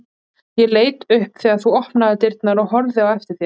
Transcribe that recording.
Ég leit upp þegar þú opnaðir dyrnar og horfði á eftir þér.